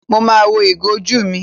Mo ma wọ ìgò ojú mi.